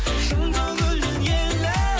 шын көңілден елім